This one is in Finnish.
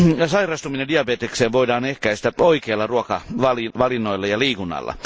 Sairastumista diabetekseen voidaan ehkäistä oikeilla ruokavalinnoilla ja liikunnalla.